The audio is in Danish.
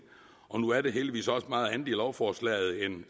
nu er der heldigvis også meget andet i lovforslaget